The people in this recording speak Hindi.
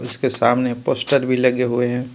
इसके सामने पोस्टर भी लगे हुए हैं.